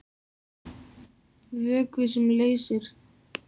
Vökvi sem leysir